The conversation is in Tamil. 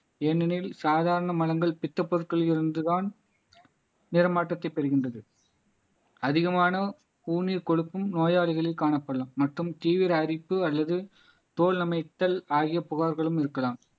ஏனெனில் சாதாரண மலங்கள் பித்தப் பொருட்களில் இருந்து தான் நிறமாற்றத்தை பெறுகின்றது அதிகமான ஊனியர் கொழுப்பும் நோயாளிகளே காணப்படலாம் மற்றும் தீவிர அரிப்பு அல்லது தோல் அமைத்தல் ஆகிய புகார்களும் இருக்கலாம்